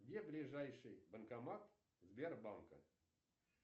где ближайший банкомат сбербанка